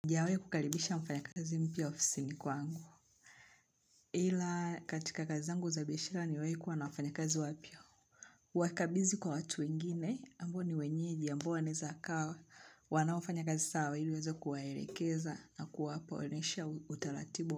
Sijawahi kukalibisha mfanyakazi mpya ofisini kwangu. Ila katika kazi zangu za biashara nimewahi kuwa na wafanyakazi wapya. Wakabizi kwa watu wengine ambao ni wenyeji ambao wanawezakaa wanaofanya kazi sawa ili uweze kuwaelekeza na kuwapa onesha utaratibu.